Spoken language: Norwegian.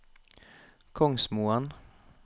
Kongsmoen